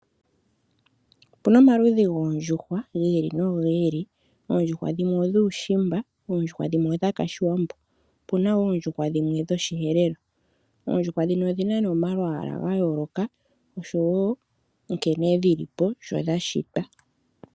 Opu na omaludhi goondjuhwa gi ili nogi ili. Oondjuhwa dhimwe odhuushimba, oondjuhwa dhimwe odho shiwambo opu na woo oondjuhwa dhimwe dhoshi Herero. Oondjuhwa dhino odhina nee omalwaala ga yooloka oshowo nkene dhili po sho dhashitwa.